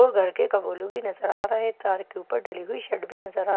व घर के कबुलु भी नजर आ रहे हैं तार के ऊपर डली हुई शर्ट भी नजर आ--